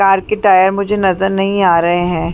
Car के tyre मुझे नजर नहीं आ रहे है।